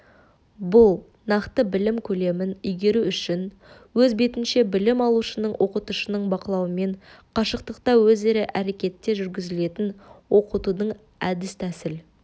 бұл нақты білім көлемін игеру үшін өз бетінше білім алушының оқытушының бақылауымен қашықтықта өзара әрекетте жүргізілетін оқытудың әдіс-тәсіл